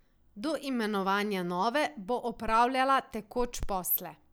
Do imenovanja nove bo opravljala tekoč posle.